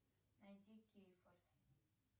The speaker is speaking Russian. найди кейфорс